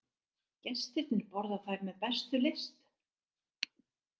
Gestirnir borða þær með bestu lyst.